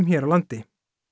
hér á landi